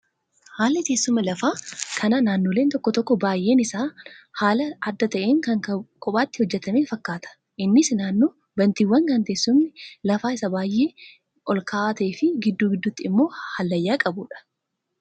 Haalli teessuma lafaa kan naannolee tokko tokkoo baay'een isaa haala adda ta'een kan kophaatti hojjatame fakkaata. Innis naannoo bantiiwwanii kan teessumni lafa isaa baay'ee ol ka'aa ta'ee gidduu gidduutti immoo hallayyaa qabudha.